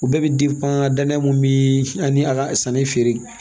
U bɛɛ bɛ dannen mun bɛ ani a ka sanni feere